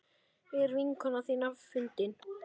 Er vinkona þín fundin?